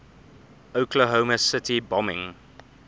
oklahoma city bombing